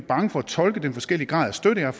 bange for at tolke den forskellige grad af støtte jeg